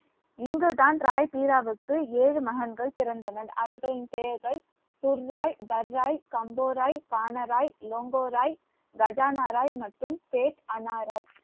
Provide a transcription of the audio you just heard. இங்குதான் ராய்பீராவுக்கு ஏழு மகன்கள் பிறந்தனர் அவர்களின் பெயர்கள் துர்சாய் தர்ராய் கம்பூராய் கானராய் லோங்கோராய் கஜானா ராய் மற்றும் ராய்